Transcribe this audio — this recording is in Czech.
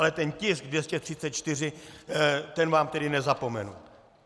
Ale ten tisk 234, ten vám tedy nezapomenu.